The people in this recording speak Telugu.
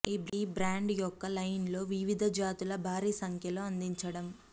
ఈ బ్రాండ్ యొక్క లైన్ లో వివిధ జాతుల భారీ సంఖ్యలో అందించడం